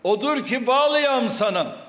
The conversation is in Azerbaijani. Odur ki, bağlıyam sana.